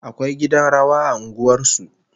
Akwai gidan rawa a unguwar su